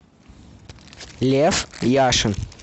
лев яшин